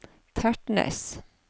Tertnes